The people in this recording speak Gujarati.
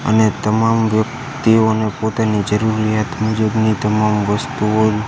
અને તમામ વ્યક્તિઓને પોતાની જરૂરિયાત મુજબની તમામ વસ્તુઓ.